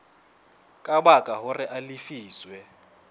ka baka hore a lefiswe